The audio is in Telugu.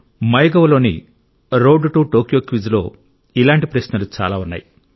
మైగవ్లోని రోడ్ టు టోక్యో క్విజ్లో ఇలాంటి ప్రశ్నలు చాలా ఉన్నాయి